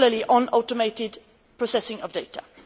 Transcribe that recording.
on the automated processing of data.